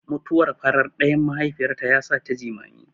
Mutuwar farar ɗayan mahaifiyarta yasata jimami.